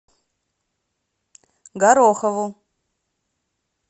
горохову